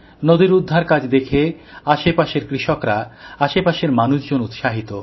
নদীর উদ্ধারকাজ দেখে আশেপাশের কৃষকরা আশেপাশের মানুষজন উৎসাহিত